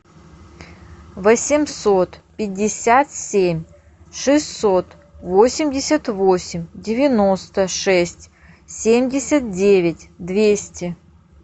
восемьсот пятьдесят семь шестьсот восемьдесят восемь девяносто шесть семьдесят девять двести